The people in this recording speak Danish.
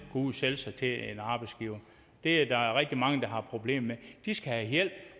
ud og sælge sig til en arbejdsgiver det er der rigtig mange der har problemer med de skal have hjælp